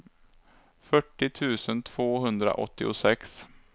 fyrtio tusen tvåhundraåttiosex